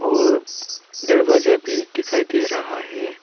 और दरवाजा भी दिखाई दे रहा है।